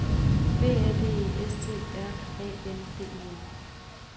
B A D E S T R A N D E N